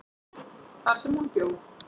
þar sem hún bjó.